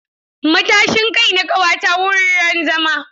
Matashin kai na ƙawata wuraren zama.